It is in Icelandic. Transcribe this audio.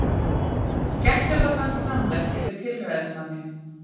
Gæsluvarðhald framlengt yfir tilræðismanni